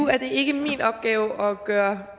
nu er det ikke min opgave at gøre